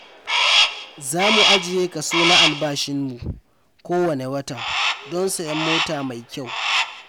Za mu ajiye kaso na albashinmu kowanne wata don sayen mota mai kyau.